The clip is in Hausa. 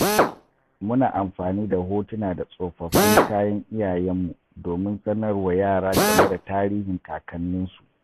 Muna amfani da hotuna da tsofaffin kayan iyayenmu domin sanar wa yara game da tarihin kakanninsu.